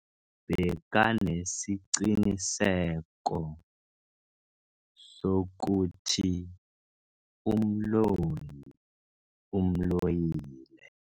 Bekanesiqiniseko sokuthi umloyi umloyile.